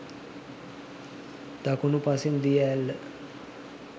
දකුණු පසින් දිය ඇල්ල